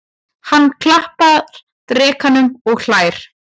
Hann klappar drekanum og hlær.